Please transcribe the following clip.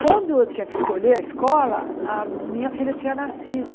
Quando eu tinha que escolher a escola, a minha filha tinha nascido.